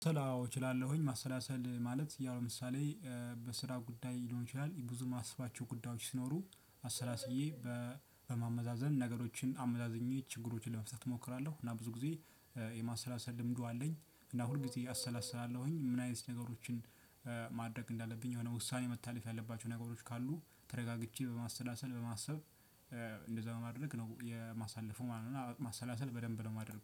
አዎ እችላለሁኝ ማሰላሰል ማለት ያው ለምሳሌ በስራ ጉዳይ ሊሆን ይችላል ብዙ ማሰባቸው ጉዳዮች ሲኖሩ አሰላስዬ በማመዛዘን ነገሮችን አመዛዝኜ ችግሮችን ለመፍታት እሞክራለሁ። እና ብዙ ጊዜ የማሰላሰል ልምዱ አለኝ እና ሁልጊዜ አሰላስላለሁኝ። ምን አይነት ነገሮችን? ማድረግ እንዳለብኝ የሆነ ውሳኔ መታለፍ ያለባቸው ነገሮች ካሉ ተረጋግቼ በማሰላሰል በማሰብ እንደዛ በማድረግ ነው የማሳለፉ ማለት ነው። ማሰላሰል በደንብ ነው የማደርገው